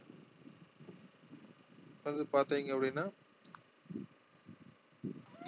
வந்து பார்த்தீங்க அப்படினா